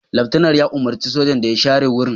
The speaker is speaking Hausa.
Laftanar ya umurci sajan da ya share wurin